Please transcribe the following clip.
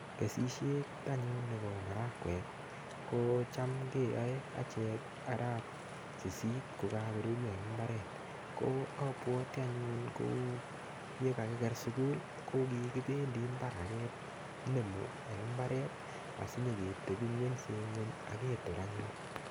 Kesishet anyun nebo marakwek ko cham keyoei achek arap sisit kukakorurio anyun eng' imbaret ko abwoti ko yekikakiker sukul ko kikibendi mbar akenomi eng' imbaret asinyi keteping'wense aketor anyun